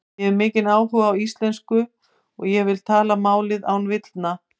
Ég hef mikinn áhuga á íslensku og ég vil tala málið án villna.